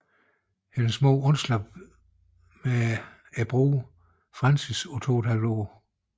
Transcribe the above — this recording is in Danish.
Hendes mor undslap med broren Francis på 2 ½ år